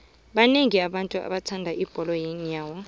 banengi abantu abathanda ibholo yeenyawo